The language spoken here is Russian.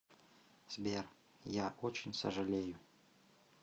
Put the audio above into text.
сбер я очень сожалею